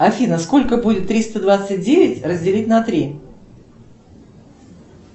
афина сколько будет триста двадцать девять разделить на три